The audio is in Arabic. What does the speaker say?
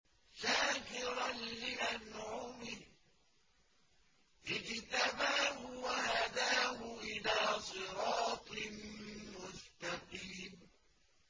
شَاكِرًا لِّأَنْعُمِهِ ۚ اجْتَبَاهُ وَهَدَاهُ إِلَىٰ صِرَاطٍ مُّسْتَقِيمٍ